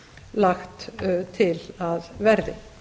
lagt til að verði